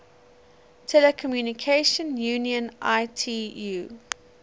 telecommunication union itu